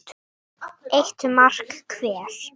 Eru álfar til?